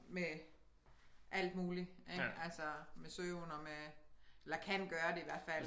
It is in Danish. Med alt muligt ik altså med søvn og med eller kan gøre det i hvert fald